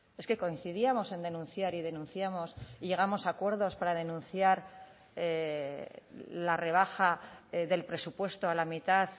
es que coincidíamos en denunciar y denunciamos y llegamos a acuerdos para denunciar la rebaja del presupuesto a la mitad